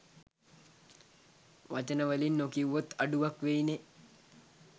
වචන වලින් නොකිව්වොත් අඩුවක් වෙයිනෙ